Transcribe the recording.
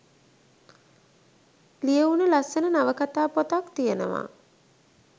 ලියවුනු ලස්සන නවකතා පොතක් තියෙනව